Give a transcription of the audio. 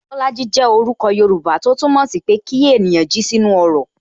Bolaji jẹ orúkọ Yoruba, tó túmọ̀ sí pé kí ènìyàn jí sí inú ọrọ̀